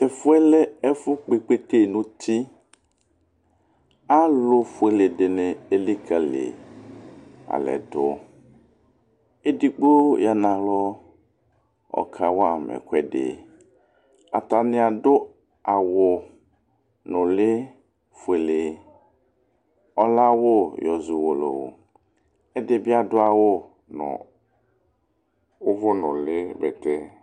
Ɛfʊɛ lɛ ɛfʊ kpɩ kpete nʊtɩ Alʊ fʊele dɩnɩ elɩkalɩ alɛdʊ Edigbo ya nalɔ, ɔka wama ɛkʊɛdɩ Atanɩ adʊ awʊ nʊlɩ fʊele, ɔlɛ awʊ yɔ zɔ ʊwolowʊ, kɛdɩbɩ adʊ awʊ nʊ ʊvʊnʊlɩ bɛtɛ